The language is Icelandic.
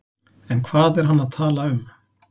En hvað er hann að tala um?